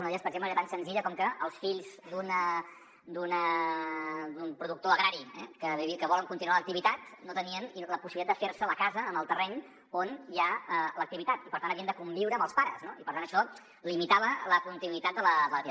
una d’elles per exemple era tan senzilla com que els fills d’un productor agrari que volen continuar l’activitat no tenien la possibilitat de fer se la casa en el terreny on hi ha l’activitat i per tant havien de conviure amb els pares i per tant això limitava la continuïtat de l’activitat